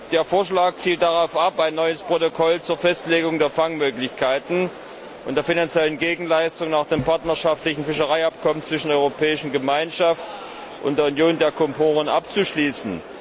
Der Vorschlag zielt darauf ab, ein neues Protokoll zur Festlegung der Fangmöglichkeiten und der finanziellen Gegenleistung nach dem partnerschaftlichen Fischereiabkommen zwischen der Europäischen Gemeinschaft und der Union der Komoren abzuschließen.